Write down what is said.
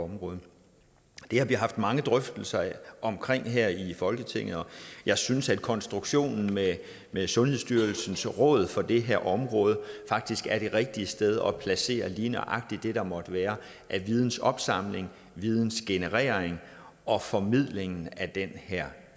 område det har vi haft mange drøftelser om her i folketinget og jeg synes at konstruktionen med med sundhedsstyrelsens råd for det her område faktisk er det rigtige sted at placere lige nøjagtigt det der måtte være af vidensopsamling vidensgenerering og formidlingen af den her